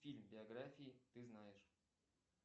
фильм биографии ты знаешь